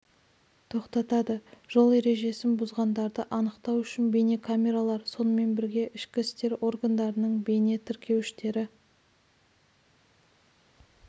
тоқтатады жол ережесін бұзғандарды анықтау үшін бейнекамералар сонымен бірге ішкі істер органдарының бейне тіркеуіштері